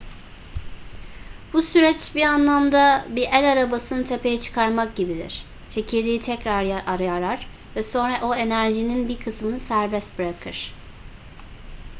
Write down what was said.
bu süreç bir anlamda bir el arabasını tepeye çıkarmak gibidir çekirdeği tekrar yarar ve sonra o enerjinin bir kısmını serbest bırakır